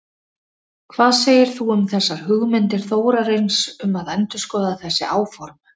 Hvað segir þú um þessar hugmyndir Þórarins um að endurskoða þessi áform?